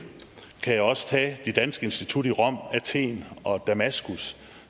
kan jeg også tage det danske institut i rom athen og damaskus